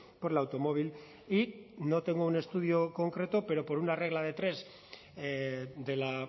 por el automóvil y no tengo un estudio concreto pero por una regla de tres de la